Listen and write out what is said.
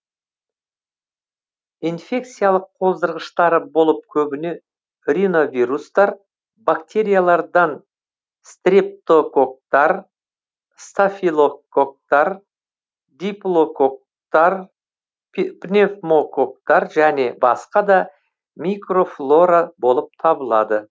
инфекциялық қоздырғыштары болып көбіне риновирустар бактериялардан стрептококктар стафилококктар диплококктар пневмококктар және басқа да микрофлора болып табылады